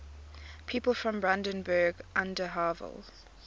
people from brandenburg an der havel